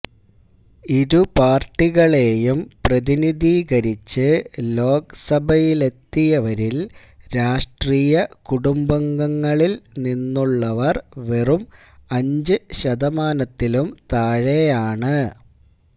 ഇരുപാര്ട്ടികളെയും പ്രതിനിധീകരിച്ച് ലോക്സഭയിലെത്തിയവരില് രാഷ്ട്രീയകുടുംബങ്ങളില് നിന്നുള്ളവര് വെറും അഞ്ച് ശതമാനത്തിലും താഴെയാണ്